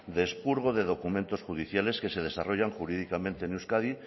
de expurgo de documentos judiciales que se desarrollan jurídicamente en euskadi